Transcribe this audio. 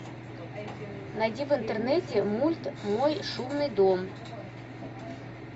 найди в интернете мульт мой шумный дом